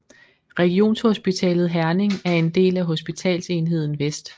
Regionshospitalet Herning er en del af Hospitalsenheden Vest